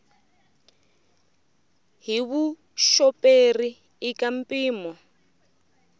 hi vuxoperi i ka mpimo